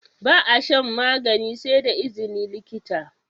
Ba a shan magani sai da izini likita